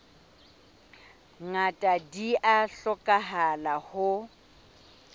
ngata di a hlokahala ho